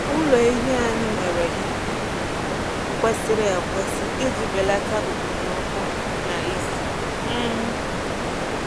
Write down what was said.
Ụlọ ehi anyị nwere ikuku kwesịrị ekwesị iji belata okpomọkụ na ísì. um